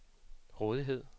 rådighed